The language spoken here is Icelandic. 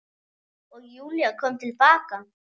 Og Júlía kom til baka.